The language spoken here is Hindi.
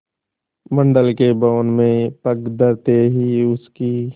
मंडल के भवन में पग धरते ही उसकी